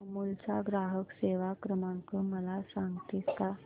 अमूल चा ग्राहक सेवा क्रमांक मला सांगतेस का